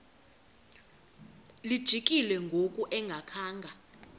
lijikile ngoku engakhanga